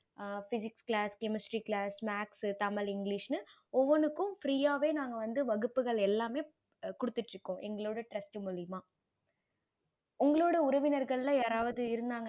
physics class chemistry class maths Tamil english ஒவ்வொன்னுக்கும் free ஆவே நாங்க வந்து வகுப்புகள் எல்லாமே குடுத்திட்டு இருக்கோம் எங்களோட trast மூலையுமா உங்களோட உறவினர்கள் மூலையுமா